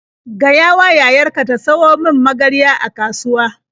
Gayawa yayar ka ta siyo min magarya a kasuwa.